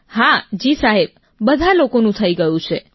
હા જી સાહેબ બધા લોકોનું થઈ ગયું છે